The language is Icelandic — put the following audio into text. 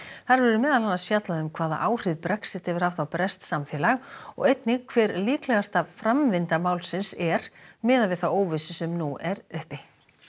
þar verður meðal annars fjallað um hvaða áhrif Brexit hefur haft á breskt samfélag og einnig hver líklegasta framvinda málsins er miðað við þá óvissu sem nú er uppi